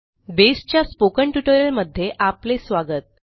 बेसच्या स्पोकन ट्युटोरियलमध्ये आपले स्वागत